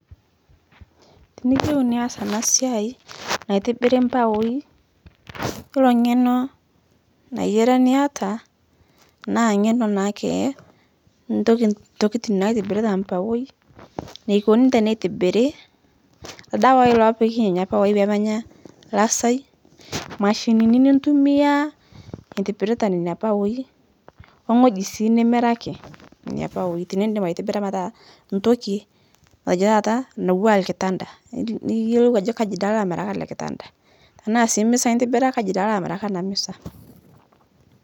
Tiniyeu nias ana siai naitibiri mbaoi, yiolo ng'eno nayiari niata naa ng'eno naake ntoki ntokitin naitibiri te mbaoi, neikoni tenetibiri, ldawai loopiki neina mbaoi pemenya lasai, mashinini nitumiyiaa itibirita neina mbaoi, ongo'ji sii nimiraki neina mbaoi tinidip aitibira metaa ntoki matejo taata natuwaa lkitanda, niyelou ajo kaji dei alo amiraki ale kitanda tanaa sii misa itibira kaji dei alo amiraki ana misa.